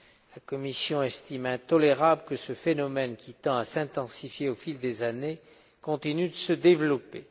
La Commission estime intolérable que ce phénomène, qui tend à s'intensifier au fil des années, continue de se développer.